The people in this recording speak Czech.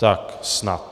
Tak snad.